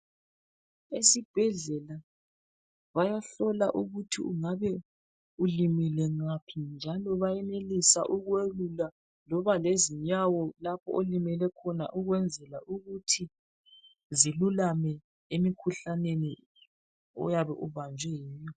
Esibhedlela bayahlola ukuthi ungabe ulimele ngaphi njalo bayenelisa ukwelula loba lezinyawo lapho olimele khona ukwenzela ukuthi zilulame emikhuhlaneni oyabe ubanjwe yiyo.